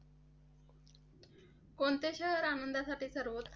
कोणते शहर आनंदासाठी सर्वोकृष्ट आहे?